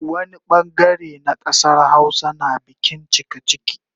Wani bangare na kasar Hausa na bikin cikaciki